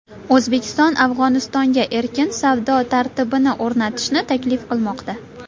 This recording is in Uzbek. O‘zbekiston Afg‘onistonga erkin savdo tartibini o‘rnatishni taklif qilmoqda.